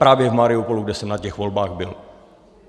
Právě v Mariupolu, kde jsem na těch volbách byl.